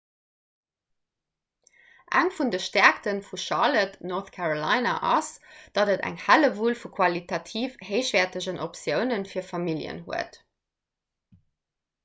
eng vun de stäerkte vun charlotte north carolina ass datt et eng hellewull vu qualitativ héichwäertegen optioune vir familljen huet